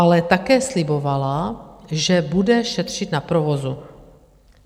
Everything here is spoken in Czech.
Ale také slibovala, že bude šetřit na provozu.